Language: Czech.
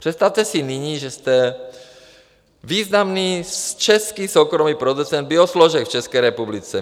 Představte si nyní, že jste významný český soukromý producent biosložek v České republice.